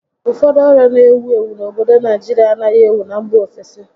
Ụfọdụ ọrịa n'ewu ewu n'obodo Naijirịa anaghị ewu na mba ofesi